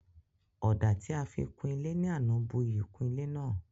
Ọ̀dà tí a fi kun ilé ní àná bu iyì kún ilé náà